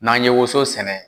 N'an ye woso sɛnɛ